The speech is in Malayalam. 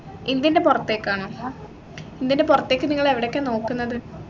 ഇന്ത്യൻറെ പുറത്തേക്ക് ആണോ ഇന്ത്യൻറെ പുറത്തേക്ക് നിങ്ങൾ എവിടെക്കാ നോക്കുന്നത്